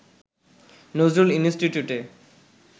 নজরুল ইনস্টিটিউটে